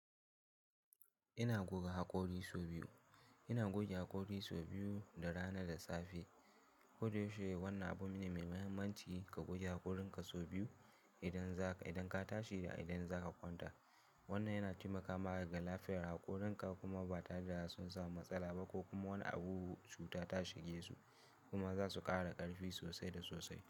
Ina goga haƙori sau biyu. Ina goge haƙori sau biyu da rana da safe. Kudushe wannan abu ne mai mahimmanci ka goge haƙorinka sau biyu idan za ka, idan ka tashi da idan za ka kwanta. Wannan yana taimakawa ƙara lafiyar haƙorinka kuma ba ta jira sun samu matsala ba ko kuma wani abubuwa cuta ta shige su kuma za su ƙara ƙarfi sosai da sosai.